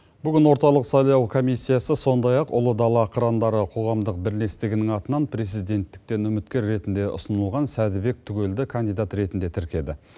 бүгін орталық сайлау комиссиясы сондай ақ ұлы дала қырандары қоғамдық бірлестігінің атынан президенттікке үміткер ретінде ұсынылған сәдібек түгелді кандидат ретінде тіркеді